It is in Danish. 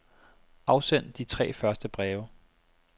Afsend de tre første breve.